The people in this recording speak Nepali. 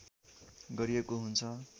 गरिएको हुन्छ